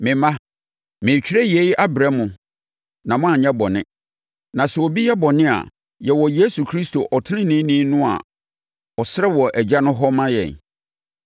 Me mma, meretwerɛ yei abrɛ mo na moanyɛ bɔne; na sɛ obi yɛ bɔne a, yɛwɔ Yesu Kristo ɔteneneeni no a ɔsrɛ wɔ Agya no hɔ ma yɛn.